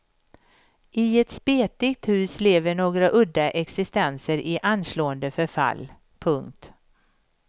I ett spetigt hus lever några udda existenser i anslående förfall. punkt